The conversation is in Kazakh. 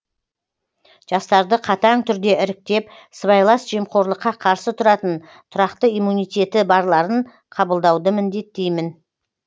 жастарды қатаң түрде іріктеп сыбайлас жемқорлыққа қарсы тұратын тұрақты иммунитеті барларын қабылдауды міндеттеймін